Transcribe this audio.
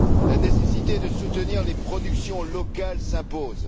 La nécessité de soutenir les productions locales s'impose.